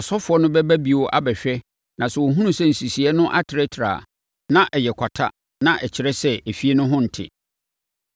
ɔsɔfoɔ no bɛba bio abɛhwɛ na sɛ ɔhunu sɛ nsisiiɛ no atrɛtrɛ a, na ɛyɛ kwata na ɛkyerɛ sɛ efie no ho nte.